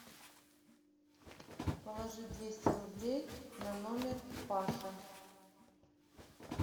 положи двести рублей на номер паша